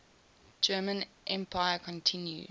german empire continues